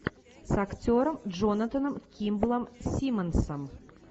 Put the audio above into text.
с актером джонатаном кимблом симмонсом